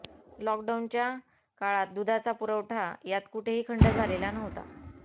लॉकडाऊनच्या काळात दुधाचा पुरवठा यात कुठेही खंड झालेला नव्हता